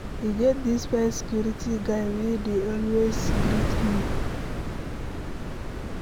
E get dis fine security guy wey dey always greet me.